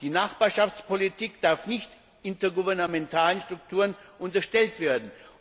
Die Nachbarschaftspolitik darf nicht intergouvernementalen Strukturen unterstellt werden.